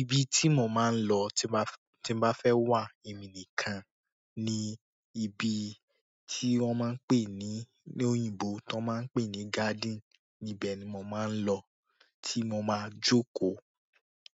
Ibi tí mo máa ń lọ tí bá, tí bá fẹ́ wà ẹmi nìkan ni ibi tí wọ́n máa ń pè ní, ní òyìnbó tí wọ́n máa ń pè ní garden. Íbé ni mo máa ń lọ tí mo máa jókòó.